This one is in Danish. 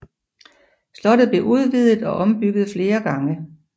Slottet blev udvidet og ombygget flere gange